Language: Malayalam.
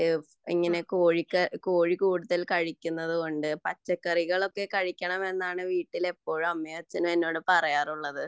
ഇങ്ങനെ കോഴി കഴിക്കുന്നത്കൊണ്ട് പച്ചക്കറികളൊക്കെ കഴിക്കണമെന്നാണ് എന്റെ അമ്മയും അച്ഛനും എന്നോട് പറയാറുള്ളത്